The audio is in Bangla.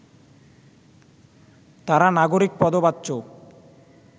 তারা নাগরিক পদবাচ্য